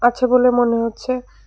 আছে বলে মনে হচ্ছে।